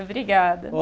Obrigada.